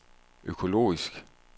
økologisk